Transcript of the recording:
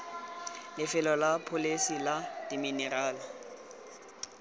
lefelo la pholese la diminerala